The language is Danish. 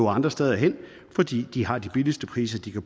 andre steder hen fordi de har de billigste priser de